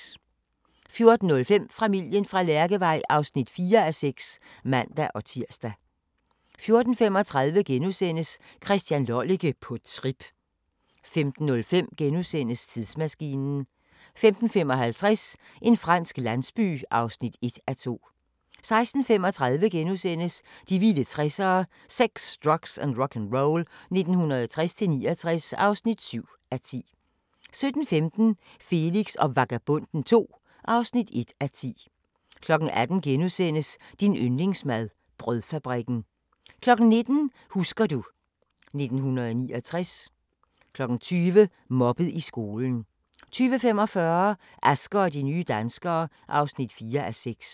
14:05: Familien fra Lærkevej (4:6)(man-tir) 14:35: Christian Lollike – på trip * 15:05: Tidsmaskinen * 15:55: En fransk landsby (1:2) 16:35: De vilde 60'ere: Sex, drugs & rock'n'roll 1960-69 (7:10)* 17:15: Felix og Vagabonden II (1:10) 18:00: Din yndlingsmad: Brødfabrikken * 19:00: Husker du ... 1989 20:00: Mobbet i skolen 20:45: Asger og de nye danskere (4:6)